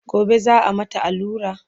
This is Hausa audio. gobe za'a mata allura?